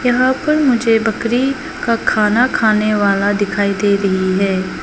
यहां पर मुझे बकरी का खाना खाने वाला दिखाई दे रही है।